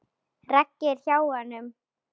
Raggi er hjá honum.